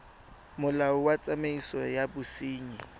molao wa tsamaiso ya bosenyi